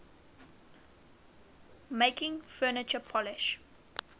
making furniture polish